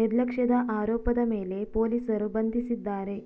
ನಿರ್ಲಕ್ಷ್ಯದ ಆರೋಪದ ಮೇಲೆ ಪೊಲೀಸರು ಬಂಧಿಸಿದ್ದಾರೆ